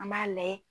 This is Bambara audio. An b'a layɛ